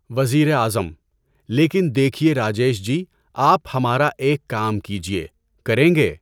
وزیر اعظم: لیکن دیکھئے راجیش جی، آپ ہمارا ایک کام کیجئے، کریں گے؟